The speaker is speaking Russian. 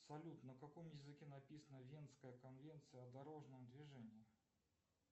салют на каком языке написана венская конвенция о дорожном движении